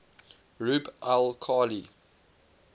rub al khali